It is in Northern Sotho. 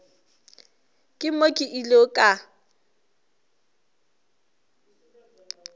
ke mo ke ilego ka